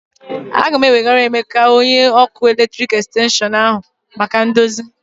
A ga m ewegara Emeka, onye ọkụ eletrik xtenshịọn m ahụ maka ndozi